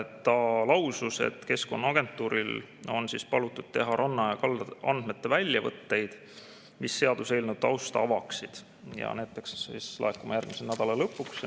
Ta lausus, et Keskkonnaagentuuril on palutud teha ranna- ja kaldaandmete väljavõtteid, mis seaduseelnõu tausta avaksid, ja ütles, et need peaksid laekuma järgmisel nädala lõpuks.